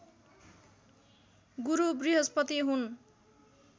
गुरु बृहस्पति हुन्